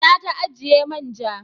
Ina ta ajiye manja?